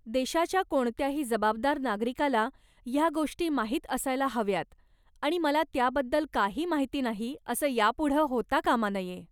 देशाच्या कोणत्याही जबाबदार नागरिकाला ह्या गोष्टी माहीत असायला हव्यात आणि मला त्याबद्दल काही माहीत नाही असं यापुढं होता कामा नये.